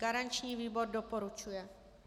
Garanční výbor doporučuje.